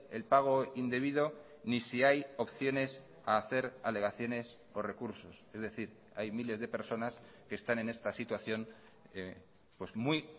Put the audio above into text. el pago indebido ni si hay opciones a hacer alegaciones o recursos es decir hay miles de personas que están en esta situación muy